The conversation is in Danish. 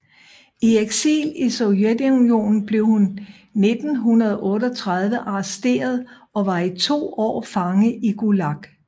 I eksil i Sovjetunionen blev hun 1938 arresteret og var i to år fange i Gulag